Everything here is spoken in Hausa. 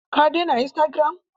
Ka dena istagiram?